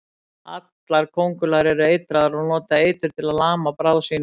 Allar köngulær eru eitraðar og nota eitur til að lama bráð sína.